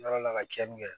Yɔrɔ la ka tiɲɛni kɛ